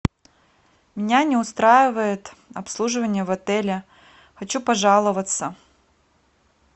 меня не устраивает обслуживание в отеле хочу пожаловаться